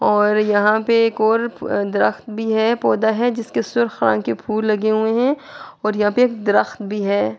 اور یہاں پی ایک ور درخت بھی ہے۔ پڑھ ہے۔ جسکے سر خان کے پھول لگے ہوئے ہے اور یہاں پی ایک درخت بھی ہے۔